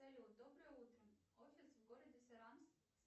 салют доброе утро офис в городе саранск